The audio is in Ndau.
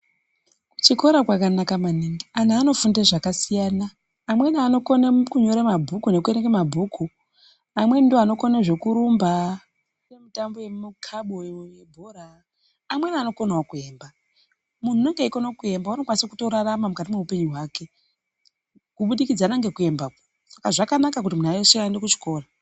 Kuchikora kwakanaka maningi anhu anofunda zvakasiyana amweni anokona mukunyore mabhuku nekuerenge mabhuku amweni ndooanokone zvekurumba mitambo yemikaboyo yebhora amweni anokonao kuemba munhu unenge eikona kuemba unokwanisa kutorarama mukati mweupenyu hwake kubudikidza nekuembako zvkanaka kuti munthu weshe aende kuchikora.